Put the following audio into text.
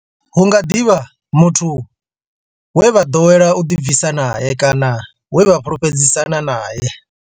Hu nga ḓi vha muthu we vha ḓowela u ḓibvisa nae kana we vha fhulufhedzisana nae.